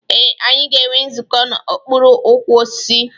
Ee, anyị ga-enwe nzukọ n'okpuru ukwu osisi.